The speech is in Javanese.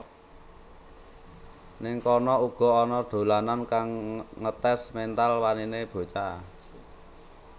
Ning kono uga ana dolanan kang ngetes mental wanine bocah